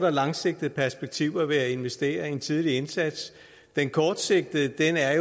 og langsigtede perspektiver ved at investere i en tidlig indsats den kortsigtede er